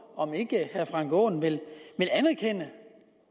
om ikke herre frank aaen vil anerkende